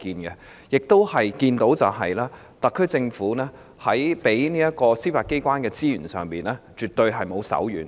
我們亦看到特區政府在給予司法機構的資源上，絕對沒有手軟。